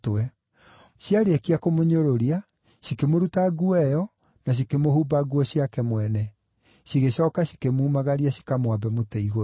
Ciarĩkia kũmũnyũrũria, cikĩmũruta nguo ĩyo, na cikĩmũhumba nguo ciake mwene. Cigĩcooka cikĩmumagaria cikamwambe mũtĩ-igũrũ.